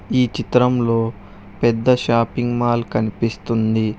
ఈ చిత్రంలో పెద్ద షాపింగ్ మాల్ కనిపిస్తుంది.